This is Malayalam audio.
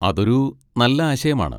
അതൊരു നല്ല ആശയമാണ്.